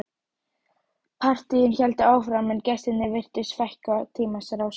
Partíin héldu áfram en gestunum virtist fækka í tímans rás.